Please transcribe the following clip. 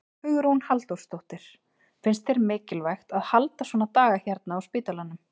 Hugrún Halldórsdóttir: Finnst þér mikilvægt að halda svona daga hérna á spítalanum?